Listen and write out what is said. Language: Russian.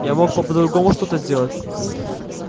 я мог по-другому что-то сделать